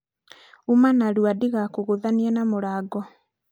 uma narua ndigakũgũthithanie na mũrango